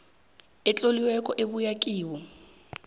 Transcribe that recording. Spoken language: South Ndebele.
etloliweko ebuya kibo